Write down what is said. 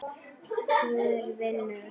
Guð vinnur.